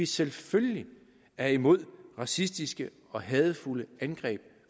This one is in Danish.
selvfølgelig er imod racistiske og hadefulde angreb